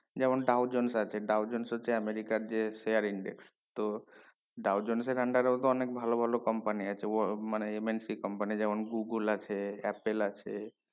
যেমন ডাওজেন্স আছে ডাওজেন্স হচ্ছে আমিরিকার যে sharing guest তো ডাওজেন্স সেখান টা তেও তো অনেক ভালো ভালো company আছে ও মানে MNCcompany যেমন google আছে apple আছে